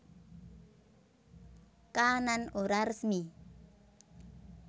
Kaanan Ora Resmi